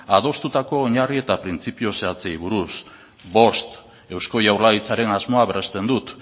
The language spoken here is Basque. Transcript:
adostutako oinarri eta printzipio zehatzei buruz bost eusko jaurlaritzaren asmoa berresten dut